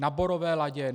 Na Borové Ladě?